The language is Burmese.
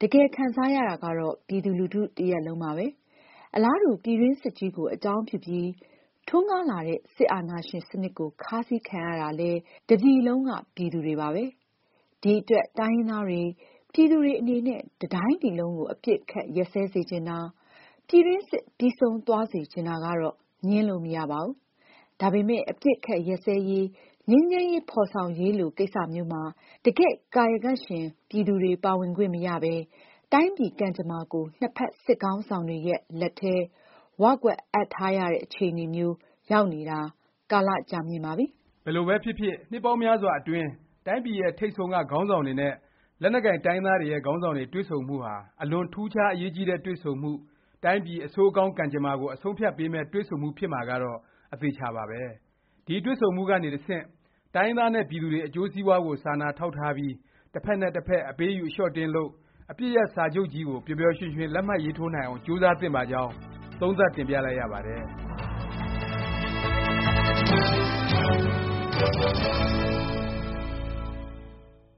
တကယ်ခံစားရတာကတော့ ပြည်သူလူထု တစ်ရပ်လုံးပါပဲ။ အလားတူ ပြည်တွင်းစစ်ကြီးကို အကြောင်းပြုပြီး ထွန်းကားလာတဲ့ စစ်အာဏာရှင် စနစ်ကို ခါးစည်းခံရတာလည်း တစ်ပြည်လုံးက ပြည်သူတွေပါပဲ။ ဒီအတွက် တိုင်းရင်းသားတွေ ပြည်သူတွေ အနေနဲ့ တစ်တိုင်းပြည်လုံးကို အပစ်အခတ် ရပ်စဲစေချင်တာ၊ ပြည်တွင်းစစ် ပြီးဆုံးသွားစေချင်တာကတော့ ငြင်းလို့မရပါဘူး။ ဒါပေမယ့် အပစ်အခတ် ရပ်စဲရေး၊ ငြိမ်းချမ်းရေး ဖော်ဆောင်ရေးလို ကိစ္စမျိုးမှာ တကယ့်ကာယကံရှင် ပြည်သူတွေ ပါဝင်ခွင့်မရပဲ တိုင်းပြည် ကံကြမ္မာကို နှစ်ဖက် စစ်ခေါင်းဆောင်တွေရဲ့ လက်ထဲ ၀ ကွက်အပ်ထားရတဲ့ အခြေအနေမျိုး ရောက်နေတာ ကာလ ကြာမြင့်ပါပြီ။ ဘယ်လိုပဲဖြစ်ဖြစ် နှစ်ပေါင်းများစွာအတွင်း တိုင်းပြည်ရဲ့ ထိပ်ဆုံးက ခေါင်းဆောင်တွေနဲ့ လက်နက်ကိုင် တိုင်းရင်းသားတွေရဲ့ ခေါင်းဆောင်တွေ တွေ့ဆုံမှုဟာ အလွန်ထူးခြား အရေးကြီးတဲ့ တွေ့ဆုံမှု၊ တိုင်းပြည်အဆိုးအကောင်း ကံကြမ္မာကို အဆုံးအဖြတ်ပေးမယ့် တွေ့ဆုံမှု ဖြစ်မှာကတော့ အသေအခြာပါပဲ။ ဒီတွေ့ဆုံမှုကနေ တဆင့် တိုင်းရင်းသားနဲ့ ပြည်သူတွေ အကျိုးစီးပွားကို စာနာထောက်ထားပြီး တစ်ဖက်နဲ့ တစ်ဖက် အပေးအယူ အလျော့အတင်းလုပ်၊ အပစ်ရပ် စာချုပ်ကြီးကို ပျော်ပျော်ရွှင်ရွှင် လက်မှတ်ရေးထိုးနိုင်အောင် ကြိုးစားသင့်ပါကြောင်း သုံးသပ်တင်ပြလိုက်ရပါတယ်။